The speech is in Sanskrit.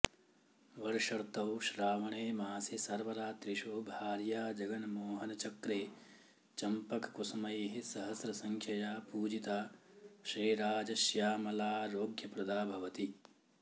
वर्षर्तौ श्रावणे मासि सर्वरात्रिषु भार्याजगन्मोहनचक्रे चम्पककुसुमैः सहस्रसङ्ख्यया पूजिता श्रीराजश्यामलाऽऽरोग्यप्रदा भवति